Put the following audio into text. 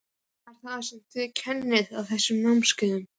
Hvað er það sem þið kennið á þessum námskeiðum?